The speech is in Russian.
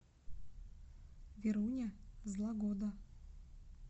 веруня злагода